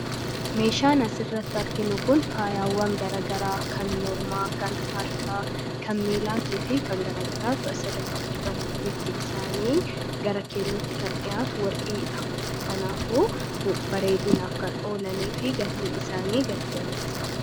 Meeshaan as irratti arginu kun faayaawwan garagaraa kan mormaa kan harka kanmiilaatii fi kangaragaraa tu'as irratti argamu biftii isaanii garakeellootti kan dhiyaatu warqiidha kanaafu bareedinaaf kan oolanii fi gatiin isaanii gati jabeessaa dha.